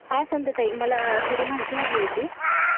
हां संध्याताई, मला थोडी माहिती हवी होती.